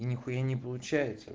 нехуя не получается